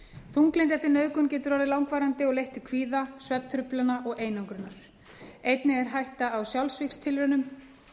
þunglyndi eftir nauðgun getur orðið langvarandi og leitt til kvíða svefntruflana og einangrunar einnig er hætta á sjálfsvígstilraunum